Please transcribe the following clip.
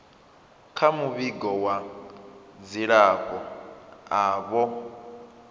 kha muvhigo wa dzilafho avho